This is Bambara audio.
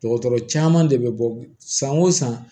Dɔgɔtɔrɔ caman de bɛ bɔ san o san